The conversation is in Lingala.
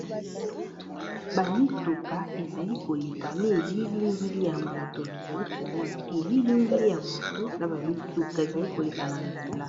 Ba mituka ezali koleka na elilingili ya moto, nazali komona elilingili ya moto na ba mituka ezali koleka na nzela.